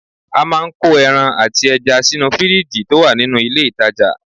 A máa ń kó ẹran àti ẹja sínú fìríìjì tó wà nínú ilé ìtajà